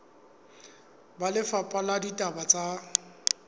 ba lefapha la ditaba tsa